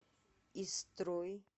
истрой